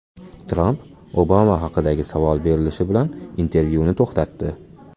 Tramp Obama haqidagi savol berilishi bilan intervyuni to‘xtatdi.